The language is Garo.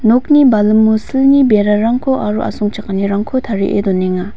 nokni balimo silni berarangko aro asongchakanirangko tarie donenga.